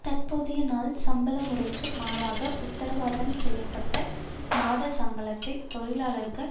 தற்போதைய நாள் சம்பள முறைக்கு மாறாக உத்தரவாதம் செய்ய பட்ட மாத சம்பளத்தை தொழிலாளர்கள்